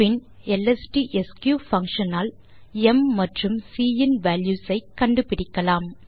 பின் எல்எஸ்டிஎஸ்க் பங்ஷன் ஆல் ம் மற்றும் சி இன் வால்யூஸ் ஐ கண்டுபிடிக்கலாம்